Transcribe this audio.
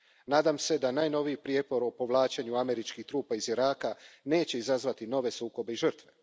Nadam se da najnoviji prijepor o povlačenju američkih trupa iz Iraka neće izazvati nove sukobe i žrtve.